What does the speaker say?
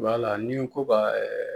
Wala ni n ko ka